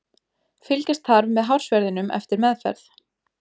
Fylgjast þarf með hársverðinum eftir meðferð.